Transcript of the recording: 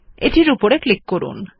এটির উপর ক্লিক করুন